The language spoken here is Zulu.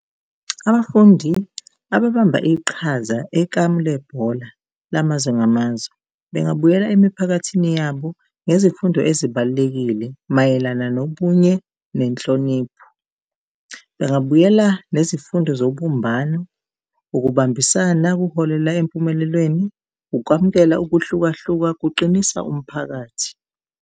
Abafundi ababamba iqhaza ekamlebhola lamazwe ngamazwe, bengabuyela emiphakathini yabo ngezifundo ezibalulekile mayelana nobunye nenhlonipho. Bengabuyela nezifundo zobumbano, ukubambisana kuholela empumelelweni, ukwamukela ukuhlukahluka kuqinisa umphakathi.